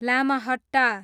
Lamahatta